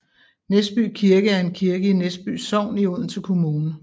Næsby Kirke er en kirke i Næsby Sogn i Odense Kommune